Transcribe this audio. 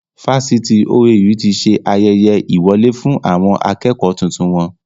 Fásitì OAU tí ṣe ayẹyẹ ìwọlé fún àwọn akẹ́kọ̀ tuntun wọn.